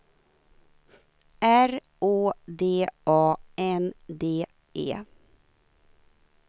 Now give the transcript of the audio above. R Å D A N D E